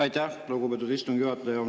Aitäh, lugupeetud istungi juhataja!